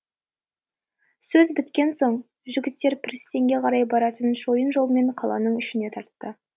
сөз біткен соң жігіттер пірістенге қарай баратын шойын жолмен қаланың ішіне тартты